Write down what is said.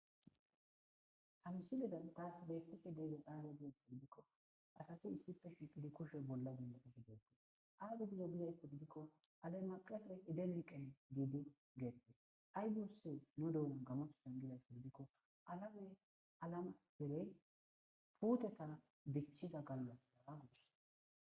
ha misiliya siledan taas betishe deege qaare gizasodbikko asafi issippe shiqidi kushe bolla gundodohideekte aydu gizo gizays koddikko ale maqafe edeniqen giidi geette ay dusse nu dohunan gamasu san gizays kodidikko alame alama bere putetana dichiza galola daagudus